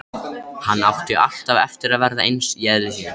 Hann átti alltaf eftir að verða eins í eðli sínu.